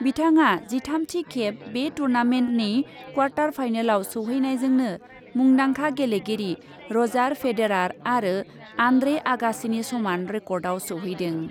बिथाङा जिथामथि खेब बे टुर्नामेन्टनि क्वार्टार फाइनालाव सौहैनायजोंनो मुंदांखा गेलेगिरि रजार फेडेरार आरो आन्द्रे आगासिनि समान रेकर्डआव सौहैदों।